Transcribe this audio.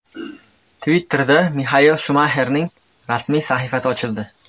Twitter’da Mixael Shumaxerning rasmiy sahifasi ochildi.